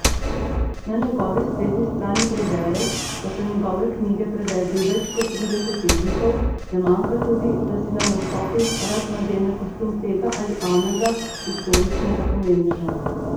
Na njegovi spletni strani prebereš, da so njegove knjige prevedli v več kot trideset jezikov, ne manjka tudi, da si na nastopih rad nadene kostum tega ali onega historičnega pomembneža.